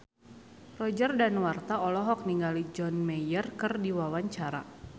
Roger Danuarta olohok ningali John Mayer keur diwawancara